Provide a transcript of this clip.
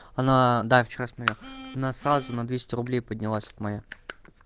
она да вчера смотрел она сразу на двести рублей поднялась вот моя